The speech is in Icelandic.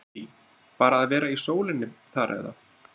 Lillý: Bara að vera í sólinni þar eða?